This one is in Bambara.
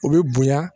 U bɛ bonya